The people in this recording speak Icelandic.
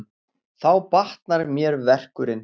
Þá batnar mér verkurinn.